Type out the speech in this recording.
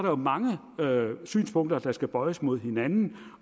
jo mange synspunkter der skal bøjes mod hinanden